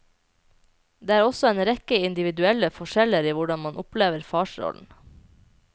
Det er også en rekke individuelle forskjeller i hvordan man opplever farsrollen.